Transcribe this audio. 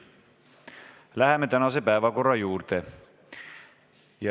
Läheme tänase päevakorra juurde.